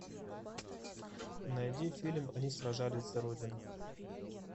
найди фильм они сражались за родину